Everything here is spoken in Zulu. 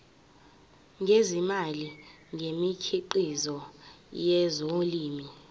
ngezimali ngemikhiqizo yezolimo